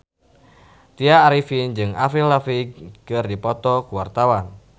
Tya Arifin jeung Avril Lavigne keur dipoto ku wartawan